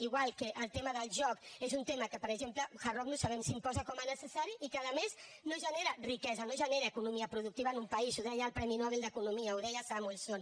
igual que el tema del joc és un tema que per exemple hard rock no sabem si l’imposa com a necessari i que a més no genera riquesa no genera economia productiva en un país ho deia el premi nobel d’economia ho deia samuelson